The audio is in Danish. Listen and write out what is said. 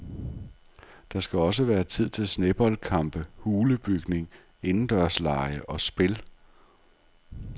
Der skal også være tid til sneboldkampe, hulebygning, indendørslege og spil.